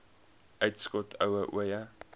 uitskot ooie jong